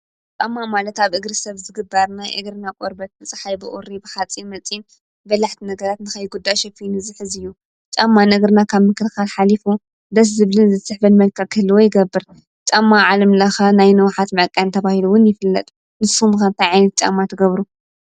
ጣማ ማለታ ብ እግሪ ሰብ ዝግባርና እግርና ቆርበት ምጽሓይ ብኦሪ ብኻጺ መጺን በላሕቲ ነገራት ንኸይጕዳ ሸፊኑ ዝኅዚ እዩ ጻማ ንእግርና ካብ ምክርካል ኃሊፉ ደስ ዝብልን ዘትሕበድ መልካ ኽህልዎ ይገብር ጣማ ዓለምለኸ ናይ ነዉኃት ማቃን ተብሂሉውን ይፍለጥ ንሱምኸምታዓኒት ጨማ ትገብሩ።